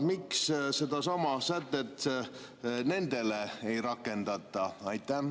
Miks sedasama sätet nendele ei rakendata?